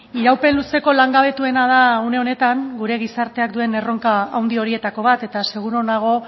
iraupen luzeko langabetuena da une honetan gure gizarteak duen erronka handi horietako bat eta seguru nago